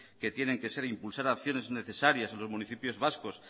que tienen que ser impulsar acciones necesarias en los municipios vascos